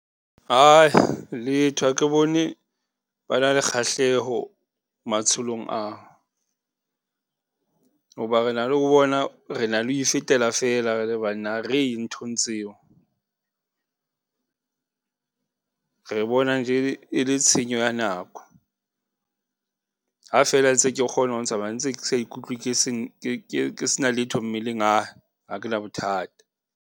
Ae, letho. Ha ke bone ba na le kgahleho matsholong ao hoba re na le ho bona, re na le ho ifetela fela re le banna ha re ye nthong tseo re bona nje e le tshenyo ya nako, ha feela ntse ke kgona ho tsamaya ntse ke sa ikutlwe ke sena letho mmeleng ha kena bothata.